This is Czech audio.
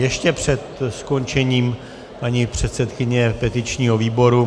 Ještě před skončením paní předsedkyně petičního výboru.